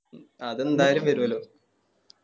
അതെന്താലും വരുല്ലോ